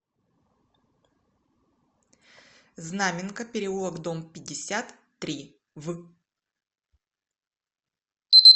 знаменка переулок дом пятьдесят три в